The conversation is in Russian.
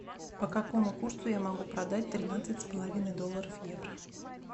по какому курсу я могу продать тринадцать с половиной долларов евро